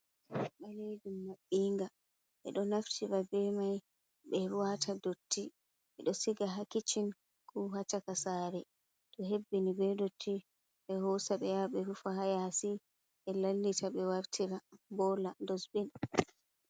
Rooba balejum mabbinga. Bedo naftra be mai be wata dotti. Be do siga ha kiccin ko ha caka sare to hebbini be nɗɗotti, be hoosa be yaha be rufa ha yasi. Be lallita be wartira bola dossbin.